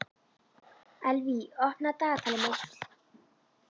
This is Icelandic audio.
Elvý, opnaðu dagatalið mitt.